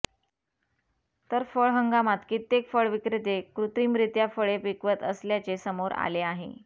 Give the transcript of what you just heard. तर फळ हंगामात कित्येक फळ विक्रेते कृत्रिमरीत्या फळे पिकवत असल्याचे समोर आले आहे